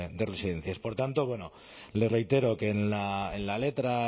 de residencias por tanto le reitero que en la letra